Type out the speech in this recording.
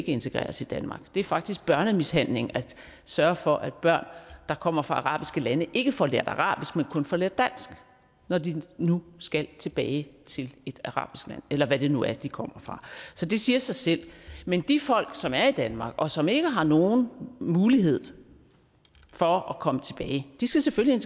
integreres i danmark det er faktisk børnemishandling at sørge for at børn der kommer fra arabiske lande ikke får lært arabisk men kun får lært dansk når de nu skal tilbage til et arabisk land eller hvad det nu er de kommer fra så det siger sig selv men de folk som er i danmark og som ikke har nogen mulighed for at komme tilbage skal selvfølgelig